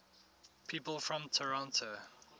people from toronto